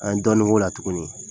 A ye dɔɔnin k'o la tuguni